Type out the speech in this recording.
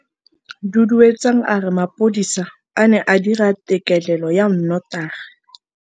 Duduetsang a re mapodisa a ne a dira têkêlêlô ya nnotagi.